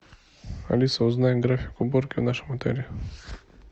алиса узнай график уборки в нашем отеле